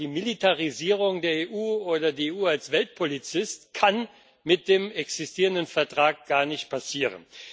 Die Militarisierung der EU oder die EU als Weltpolizei kann mit dem existierenden Vertrag also gar nicht passieren.